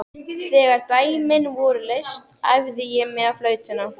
Þegar dæmin voru leyst æfði ég mig á flautuna.